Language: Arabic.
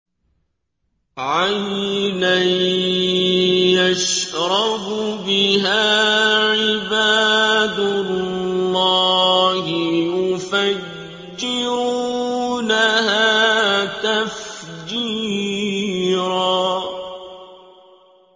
عَيْنًا يَشْرَبُ بِهَا عِبَادُ اللَّهِ يُفَجِّرُونَهَا تَفْجِيرًا